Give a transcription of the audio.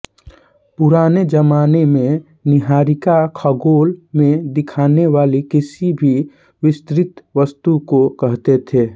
पुराने जमाने में निहारिका खगोल में दिखने वाली किसी भी विस्तृत वस्तु को कहते थे